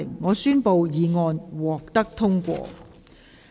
我宣布議案獲得通過。